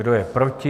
Kdo je proti?